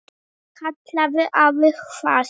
kallaði afi hvasst.